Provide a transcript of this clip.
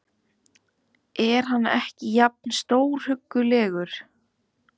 Er hann ekki alveg jafn stórhuggulegur?